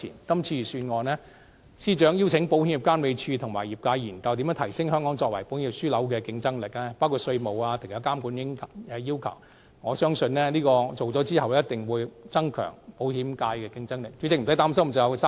今次預算案，司長邀請了保險業監管局及業界研究如何提升香港作為保險業樞紐的競爭力，包括稅務安排和其他監管要求，我相信研究完成後，定必可以增強保險界的競爭力。